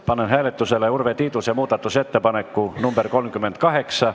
Panen hääletusele Urve Tiiduse muudatusettepaneku nr 38.